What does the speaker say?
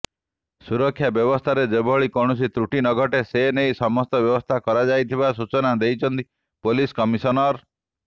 ସୁରକ୍ଷା ବ୍ୟବସ୍ଥାରେ ଯେଭଳି କୌଣସି ତ୍ରୁଟି ନଘଟେ ସେନେଇ ସମସ୍ତ ବ୍ୟବସ୍ଥା କରାଯାଇଥିବା ସୂଚନା ଦେଇଛନ୍ତି ପୋଲିସ କମିଶନର